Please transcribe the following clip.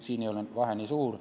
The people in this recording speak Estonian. Siin ei ole vahe nii suur.